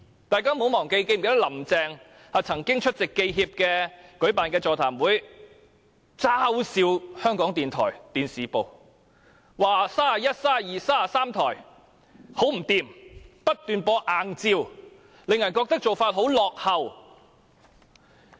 大家不要忘記，林鄭月娥曾經出席香港記者協會舉辦的座談會，嘲笑港台電視部，說31台、32台和33台很不濟，不斷播放硬照，令人覺得做法很落後。